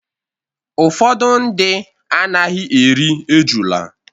Ụfọdụ ndị anaghị eri ejula.